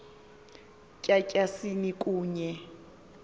tya tyasini kunye